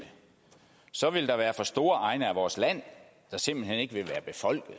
så vil der være for store egne af vores land der simpelt hen ikke vil være befolket